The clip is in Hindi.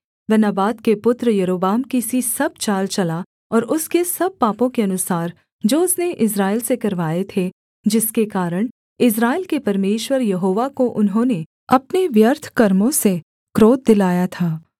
वह नबात के पुत्र यारोबाम की सी सब चाल चला और उसके सब पापों के अनुसार जो उसने इस्राएल से करवाए थे जिसके कारण इस्राएल के परमेश्वर यहोवा को उन्होंने अपने व्यर्थ कर्मों से क्रोध दिलाया था